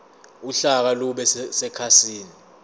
uhlaka lube sekhasini